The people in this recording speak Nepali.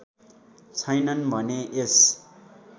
छैनन् भने यस